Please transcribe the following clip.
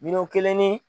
Miliyɔn kelen ni